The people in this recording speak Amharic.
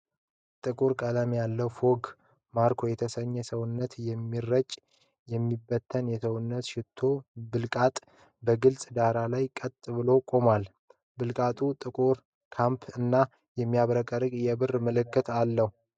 ጥቁር ቀለም ያለው የFOGG ማርኮ የተሰኘ ሰውነት የሚረጭ/ የሚበተን የሰውነት ሽቶ ብልቃጥ በግልፅ ዳራ ላይ ቀጥ ብሎ ቆሟል። ብልቃጡ ጥቁር ካፕ እና የሚያብረቀርቅ የብር ምልክት አለው።